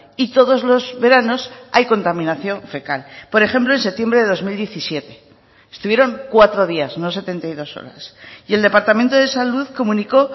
y todos los veranos hay contaminación fecal por ejemplo en septiembre de dos mil diecisiete estuvieron cuatro días no setenta y dos horas y el departamento de salud comunicó